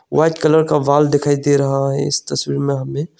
White colour का wall दिखाई दे रहा है इस तस्वीर में हमें।